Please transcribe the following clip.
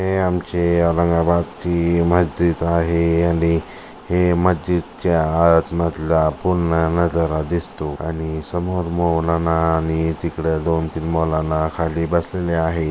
हे आमचे औरंगाबादची मस्जिद आहे आणि हे मस्जिदच्या आतमधला पूर्ण नजारा दिसतो आणि समोर मौलाना आणि तिकड दोन-तीन मोलाना खाली बसलेले आहे.